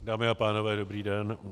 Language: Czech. Dámy a pánové, dobrý den.